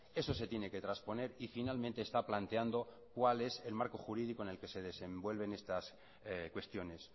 eso se tiene que trasponer y finalmente está planteando cuál es el marco jurídico en el que se desenvuelven estas cuestiones